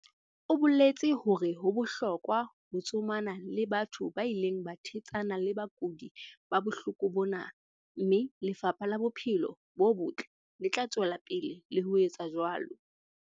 o boletse hore ho bohlokwa ho tsomana le batho ba ileng ba thetsana le bakudi ba bohloko bona, mme Lefapha la Bophelo bo Botle le tla tswela pele le ho etsa jwalo.